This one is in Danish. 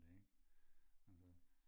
det ikke altså